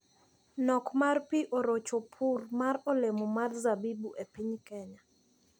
Nok mar pii orocho pur mar olemo mar zabibu e piny Kenya.